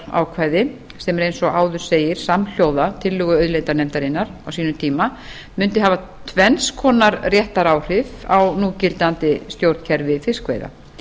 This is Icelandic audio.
sem er eins og áður segir samhljóða tillögu auðlindanefndar á sínum tíma mundi hafa tvenns konar réttaráhrif á núgildandi stjórnkerfi fiskveiða